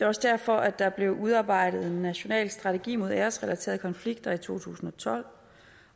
også derfor der blev udarbejdet en national strategi mod æresrelaterede konflikter i to tusind og tolv